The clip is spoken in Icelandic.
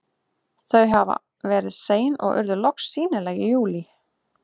Þau hafa verið sein og urðu loks sýnileg í júlí.